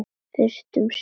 Fyrst um sinn.